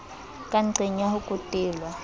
ka nqeng ya ho kwetelwa